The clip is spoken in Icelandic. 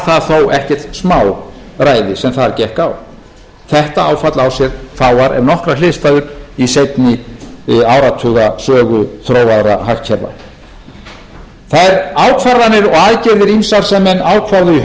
var það þó ekkert smáræði sem þar gekk á þetta áfall á sér fáar ef nokkrar hliðstæður í seinni áratuga sögu þróaðra hagkerfa þær ákvarðanir og aðgerðir ýmsar sem menn ákváðu